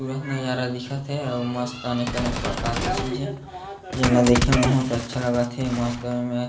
खूबसूरत नज़ारा दिखत हे अउ मस्त अनेक-अनेक प्रकार के चीजे हे जेनला देखे में बहुत अच्छा लगत हे मस्त एमें--